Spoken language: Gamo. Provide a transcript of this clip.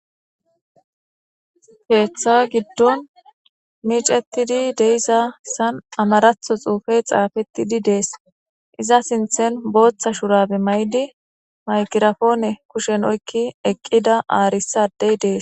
Keeththa giddon miicettidi deisasan amaratho xuufey xaafettidi dees iza sinthen booththa shurabe may7di mayqirafoone kushen oykki eqqida aarissadey dees